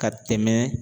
Ka tɛmɛ